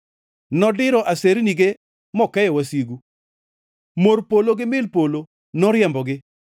Nodiro asernige mokeyo wasigu, mor polo gi mil polo noriembogi.